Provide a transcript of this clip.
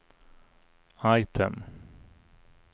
item